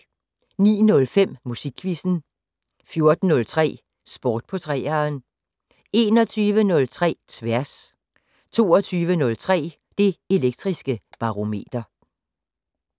09:05: Musikquizzen 14:03: Sport på 3'eren 21:03: Tværs 22:03: Det Elektriske Barometer